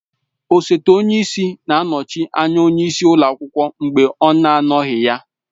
Osote onye isi na-anọchi anya onye isi ụlọ akwụkwọ mgbe ọ na anọghị ya.